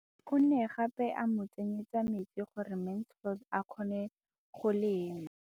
O ne gape a mo tsenyetsa metsi gore Mansfield a kgone go lema.